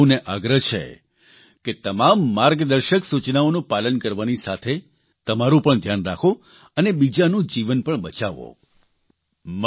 મારો આપ સૌને આગ્રહ છે કે તમામ માર્ગદર્શક સુચનાઓનું પાલન કરવાની સાથે તમારૂં પણ ધ્યાન રાખો અને બીજાનું જીવન પણ બચાવો